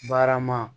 Barama